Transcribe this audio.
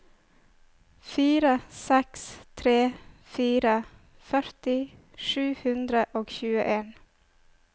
fire seks tre fire førti sju hundre og tjueen